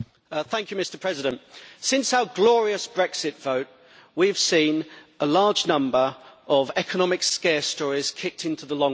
Mr President, since our glorious Brexit vote we have seen a large number of economic scare stories kicked into the long grass.